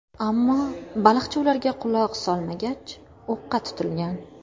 Ammo baliqchi ularga quloq solmagach, o‘qqa tutilgan.